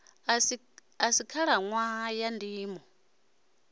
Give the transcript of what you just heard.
a si khalaṋwaha ya ndimo